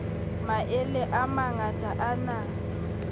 maele a mangata a na